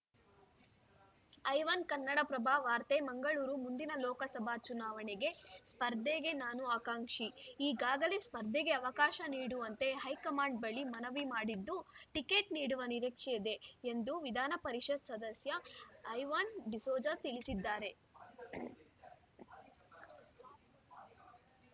ಐವನ್‌ ಕನ್ನಡಪ್ರಭ ವಾರ್ತೆ ಮಂಗಳೂರು ಮುಂದಿನ ಲೋಕಸಭೆ ಚುನಾವಣೆಗೆ ಸ್ಪರ್ಧೆಗೆ ನಾನೂ ಆಕಾಂಕ್ಷಿ ಈಗಾಗಲೇ ಸ್ಪರ್ಧೆಗೆ ಅವಕಾಶ ನೀಡುವಂತೆ ಹೈಕಮಾಂಡ್‌ ಬಳಿ ಮನವಿ ಮಾಡಿದ್ದು ಟಿಕೆಟ್‌ ನೀಡುವ ನಿರೀಕ್ಷೆಯಿದೆ ಎಂದು ವಿಧಾನ ಪರಿಷತ್‌ ಸದಸ್ಯ ಐವನ್‌ ಡಿಸೋಜ ತಿಳಿಸಿದ್ದಾರೆ